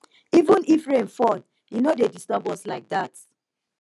even if rain fall e no dey disturb us like dat